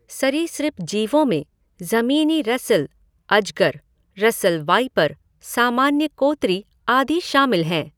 सरीसृप जीवों में जमीनी रसेल अजगर, रसेल वाइपर, सामान्य कोतरी, आदि शामिल हैं।